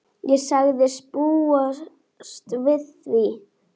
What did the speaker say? Ég sagðist búast við því.